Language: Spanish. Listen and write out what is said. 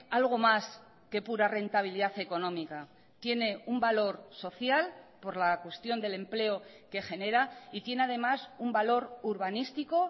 algo más que pura rentabilidad económica tiene un valor social por la cuestión del empleo que genera y tiene además un valor urbanístico